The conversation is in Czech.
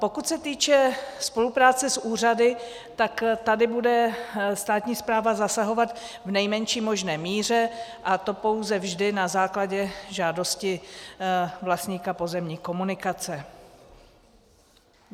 Pokud se týče spolupráce s úřady, tak tady bude státní správa zasahovat v nejmenší možné míře, a to pouze vždy na základě žádosti vlastníka pozemní komunikace.